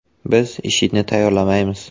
Biz IShIDni tayyorlamaymiz.